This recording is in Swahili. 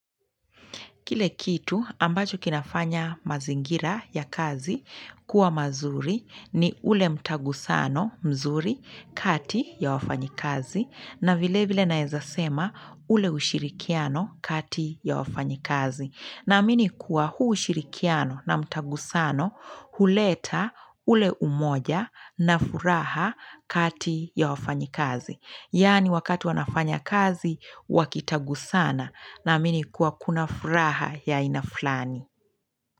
Kile kitu ambacho kinafanya mazingira ya kazi kuwa mazuri ni ule mtagusano mzuri kati ya wafanyikazi na vile vile naeza sema ule ushirikiano kati ya wafanyikazi. Naamini kuwa huu ushirikiano na mtagusano huleta ule umoja na furaha kati ya wafanyikazi. Yaani wakati wanafanya kazi, wakitagusana naamini kuwa kuna furaha ya aina flani.